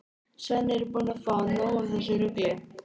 Svenni er búinn að fá nóg af þessu rugli.